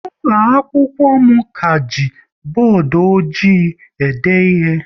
Ụlọ akwụkwọ m ka ji bọọdụ ọjị e de ihe